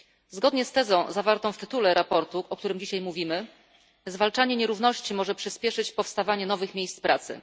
Zgodnie z tezą zawartą w tytule sprawozdania, o którym dzisiaj mówimy, zwalczanie nierówności może przyspieszyć powstawanie nowych miejsc pracy.